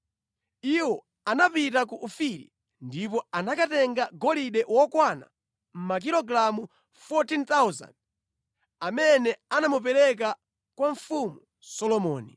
Iwo anapita ku Ofiri ndipo anakatenga golide okwana makilogalamu 14,000, amene anamupereka kwa Mfumu Solomoni.